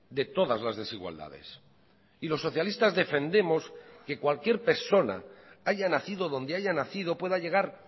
de todas las desigualdades y los socialistas defendemos que cualquier persona haya nacido donde haya nacido pueda llegar